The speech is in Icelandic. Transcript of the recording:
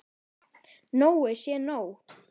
Nóg sé nóg!